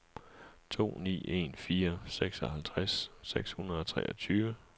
to ni en fire seksoghalvtreds seks hundrede og treogtyve